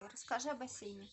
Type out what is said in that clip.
расскажи о бассейне